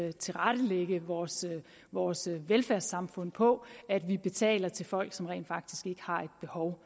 at tilrettelægge vores vores velfærdssamfund på at vi betaler til folk som rent faktisk ikke har behov